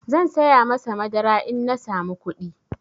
Zan saya masa madara in na samu kuɗi.